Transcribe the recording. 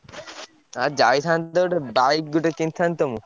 ଆଉ ଯାଇଥାନ୍ତୁ ତ ଗୋଟେ bike ଗୋଟେ କିଣିଥାନ୍ତି ତ ମୁଁ।